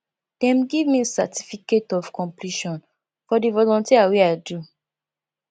dem give me certificate of completion for di volunteer wey i do